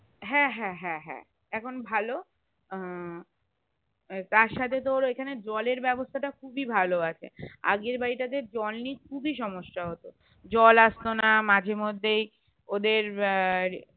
হ্যাঁ হ্যাঁ হ্যাঁ হ্যাঁ এখন ভালো উম তার সাথে তোর এখানে জল এর বেবস্তা থা খুবই ভালো আছে আগের বাড়িটা তে জল নিয়ে খুবি সমস্যা হতো জল আসতোনা মাঝের মধ্যেই ওদের উহ